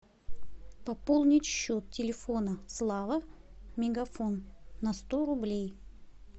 пополнить счет телефона слава мегафон на сто рублей